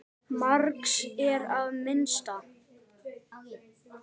Margs er að minnast